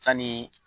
Sanni